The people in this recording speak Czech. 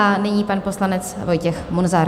A nyní pan poslanec Vojtěch Munzar.